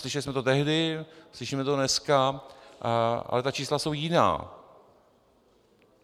Slyšeli jsme to tehdy, slyšíme to dneska, ale ta čísla jsou jiná.